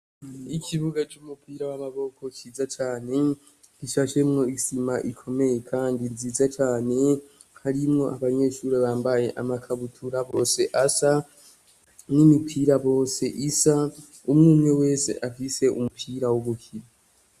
Ikibuga c'umupira w'amaboko ciza cane gishashemwo isima ikomeye kandi nziza cane harimwo abanyeshure bambaye amakabutura bose asa n'imipira bose isa umwumwe wese afise umupira wogukina.